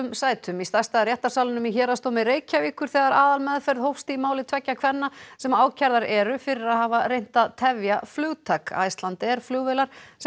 sætum í stærsta réttarsalnum í Héraðsdómi Reykjavíkur þegar aðalmeðferð hófst í máli tveggja kvenna sem ákærðar eru fyrir að hafa reynt að tefja flugtak Icelandair flugvélar sem